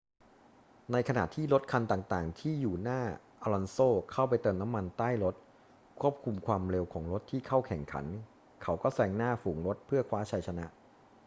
ในขณะที่รถคันต่าง ๆ ที่อยู่หน้าอลอนโซเข้าไปเติมน้ำมันใต้รถควบคุมความเร็วของรถที่เข้าแข่งขัน เขาก็แซงหน้าฝูงรถเพื่อคว้าชัยชนะ